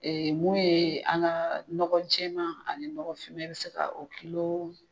mun ye an ŋaa ɲɔgɔn cɛman ani nɔgɔ fiman i bɛ se ka o